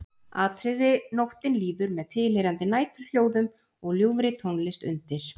Atriði Nóttin líður með tilheyrandi næturhljóðum og ljúfri tónlist undir.